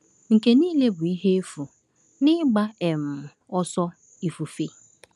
Nke niile bụ ihe efu na ịgba um ọsọ ifufe.